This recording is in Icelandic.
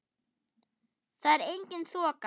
Þar er engin þoka.